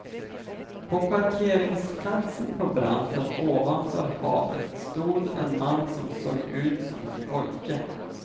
På parkeringsplatsen på branten ovanför havet stod en man som såg ut som en pojke.